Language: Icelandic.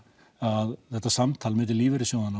að þetta samtal milli lífeyrissjóðanna